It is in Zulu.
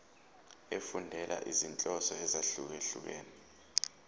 efundela izinhloso ezahlukehlukene